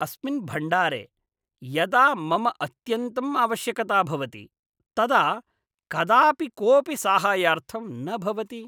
अस्मिन् भण्डारे यदा मम अत्यन्तं आवश्यकता भवति तदा कदापि कोऽपि साहाय्यार्थं न भवति।